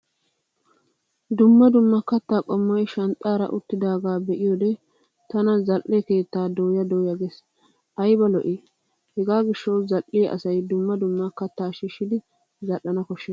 Dumma dumma kattaa qommoy shanxxaara uttidaagaa be'iyoode tana zal'e keettaa dooya dooya ges ayba lo'i. Hegaa gishshawu zal'iya asay dumma dumma kattaa shiishshidi zal'ana koshshes.